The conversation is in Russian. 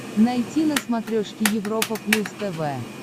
найти на смотрешке европа плюс тв